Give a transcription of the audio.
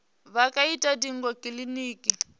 vha nga ita ndingo kiliniki